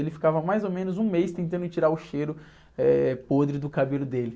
Ele ficava mais ou menos um mês tentando tirar o cheiro, eh, podre do cabelo dele.